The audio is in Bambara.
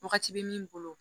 Wagati bɛ min bolo